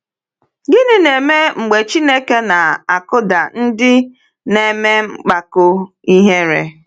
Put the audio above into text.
Gịnị na-eme mgbe Chineke na-akụda ndị na-eme mpako ihere?